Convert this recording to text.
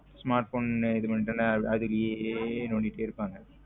Smartphone இது பண்ண்டேன்ல அதே நோன்டிடு இருபங்க.